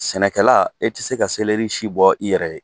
Sɛnɛkɛla e tɛ se ka selɛri si bɔ i yɛrɛ ye.